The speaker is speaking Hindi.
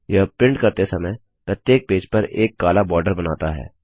यह प्रिंट करते समय प्रत्येक पेज पर एक काला बॉर्डर बनाता है